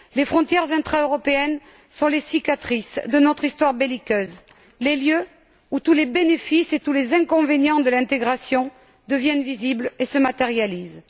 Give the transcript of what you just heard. Les frontières intra européennes sont les cicatrices de notre histoire belliqueuse, les lieux où tous les bénéfices et les inconvénients de l'intégration deviennent visibles et se matérialisent.